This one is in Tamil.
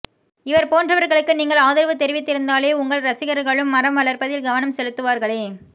இவர் போன்றவர்களுக்கு நீங்கள் ஆதரவு தெரிவித்திருந்தாலே உங்கள் ரசிகர்களும் மரம் வளர்ப்பதில் கவனம் செலுத்துவார்களே